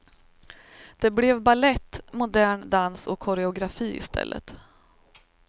Det blev balett, modern dans och koreografi i stället.